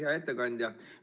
Hea ettekandja!